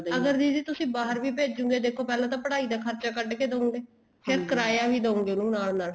ਅਗਰ ਦੀਦੀ ਤੁਸੀਂ ਬਾਹਰ ਵੀ ਭੇਜੋਗੇ ਦੇਖੋ ਪਹਿਲਾਂ ਤਾਂ ਪੜ੍ਹਾਈ ਦਾ ਖਰਚਾ ਕੱਢਕੇ ਦਉਂਗੇ ਫ਼ੇਰ ਕਿਰਾਈਆਂ ਵੀ ਦਉਂਗੇ ਉਹਨੂੰ ਨਾਲ ਨਾਲ